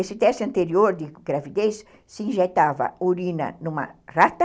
Esse teste anterior de gravidez se injetava urina numa rata,